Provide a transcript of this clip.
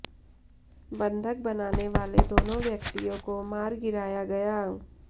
बंधक बनाने वाले दोनों व्यक्तियों को मार गिराया गया